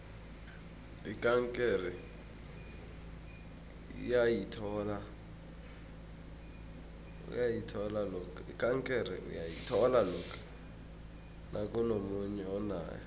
ikankere uyayithola lokha nakunomunye onayo